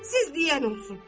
Siz deyən olsun.